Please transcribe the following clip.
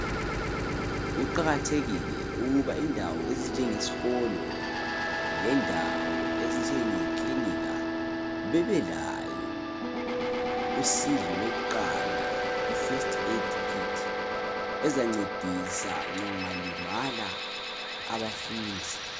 Kuqakathekile ukuba indawo ezinjenge sikolo lendawo ezinjenge kilinika bebelayo usizo lokuqala i first aid kit ezancedisa nxa kungalimala abafundi.